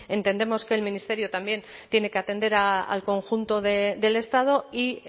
entendemos que el ministerio también tiene que atender al conjunto del estado y